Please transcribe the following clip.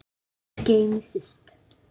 Guð geymi Systu.